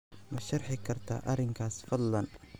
ma sharxi kartaa arrinkaas fadlan